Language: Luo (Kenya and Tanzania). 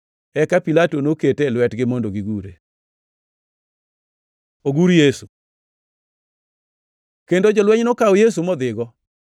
Eka Pilato nokete e lwetgi mondo gigure, Ogur Yesu kendo jolweny nokawo Yesu modhigo.